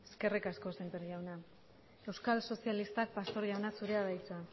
eskerrik asko semper jauna euskal sozialistak pastor jauna zurea da hitza